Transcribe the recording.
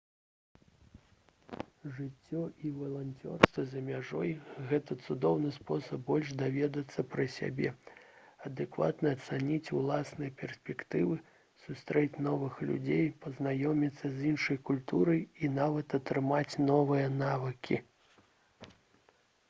жыццё і валанцёрства за мяжой гэта цудоўны спосаб больш даведацца пра сябе адэкватна ацаніць уласныя перспектывы сустрэць новых людзей пазнаёміцца з іншай культурай і нават атрымаць новыя навыкі